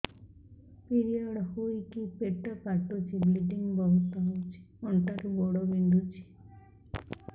period ହୋଇକି ପେଟ କାଟୁଛି ବ୍ଲିଡ଼ିଙ୍ଗ ବହୁତ ହଉଚି ଅଣ୍ଟା ରୁ ଗୋଡ ବିନ୍ଧୁଛି